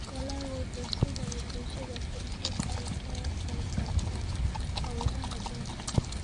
Dalaggu wuxuu siinayaa bulshada fursad ay kaga qayb qaataan hawlaha beeraha.